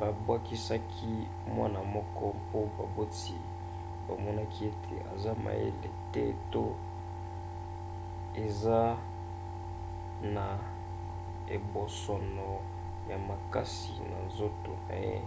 babwakisaki mwana wana mpo baboti bamonaki ete aza mayele te to eza na ebosono ya makasi na nzoto na ye